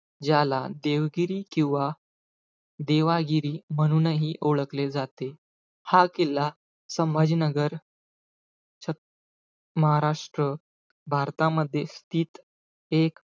ज्याला देवगिरी किंवा देवागिरी म्हणूनही ओळखले जाते. हा किल्ला संभाजीनगर च महाराष्ट्र भारतामध्ये तीत एक,